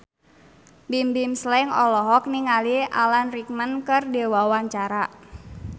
Bimbim Slank olohok ningali Alan Rickman keur diwawancara